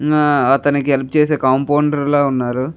నా అతనకి హెల్ప్ చేసే కంఫోన్దెర్ లా ఉన్నారు.